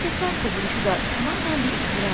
Məsləkdən qovuluşu da tamamən bir iftiradır.